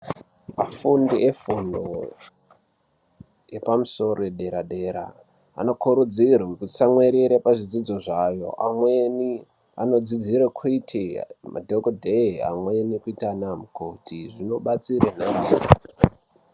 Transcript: Afjndi efundo yepamusoro yedera-dera anokurudzirwe kutsamwirire pazvidzidzo zvayo, amweni anodzidzire kuite madhokodheye amweni kuita anamukoti. Zvinobatsire...